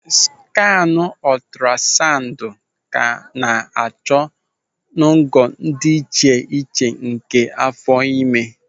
Skaanụ ọtụrasaụndụ ka an-achọ n'ogo dị iche iche nke áfọ̀ ime.